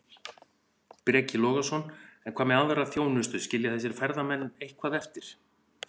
Breki Logason: En hvað með aðra þjónustu, skilja þessir ferðamenn eitthvað eftir?